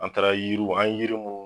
An taara yiriw an ye yiri mun